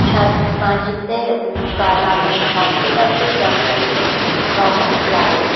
উম লাল রঙের কার্পেট আছে | যন্ত্রগুলোর রঙ ও লাল।